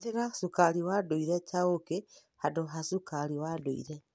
Hũthĩra cukari wa ndũire ta ũũkĩ handũ ha cukari wa ndũire.